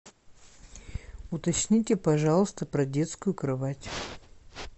уточните пожалуйста про детскую кровать